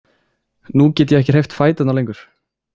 Nú get ég ekki hreyft fæturna lengur.